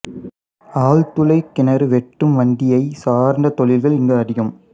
ஆழ்துளை கிணறு வெட்டும் வண்டியை சார்ந்த தொழில்கள் இங்கு அதிகம்